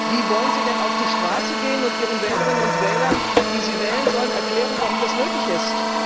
Wie wollen Sie denn auf die Straße gehen und Ihren Wählerinnen und Wählern, die Sie wählen sollen, erklären, warum das nötig ist?